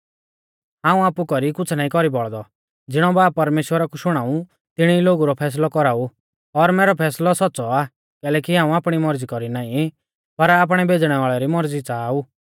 हाऊं आपु कौरी कुछ़ नाईं कौरी बौल़दौ ज़िणौ बाब परमेश्‍वरा कु शुणाऊ तिणी ई लोगु रौ फैसलौ कौराऊ और मैरौ फैसलौ सौच़्च़ौ आ कैलैकि हाऊं आपणी मौरज़ी कौरी नाईं पर आपणै भेज़णै वाल़ै री मौरज़ी च़ाहा ऊ